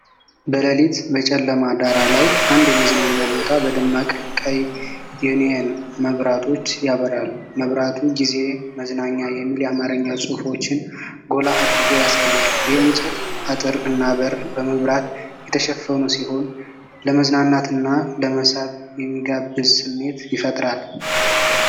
በሌሊት በጨለማ ዳራ ላይ፣ አንድ የመዝናኛ ቦታ በደማቅ ቀይ የኒዮን መብራቶች ያበራል። መብራቱ "ጊዜ መዝናኛ" የሚሉ የአማርኛ ጽሑፎችን ጎላ አድርጎ ያሳያል። የእንጨት አጥር እና በር በመብራት የተሸፈኑ ሲሆን፣ ለመዝናናትና ለመሳብ የሚጋብዝ ስሜት ይፈጥራል።